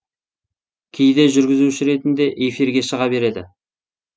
кейде жүргізуші ретінде эфирге шыға береді